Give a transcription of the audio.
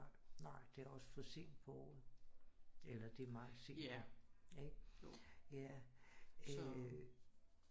Nej det er da også for sent på året eller det meget sent ikke jo ja øh